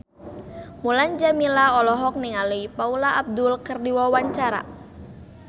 Mulan Jameela olohok ningali Paula Abdul keur diwawancara